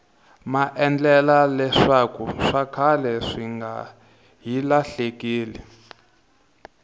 maendla leswakuswa khale swinga hi lahlekeli